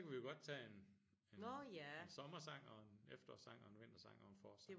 Så kan vi jo godt tage en en en sommersang og en efterårssang og en vintersang og en forårssang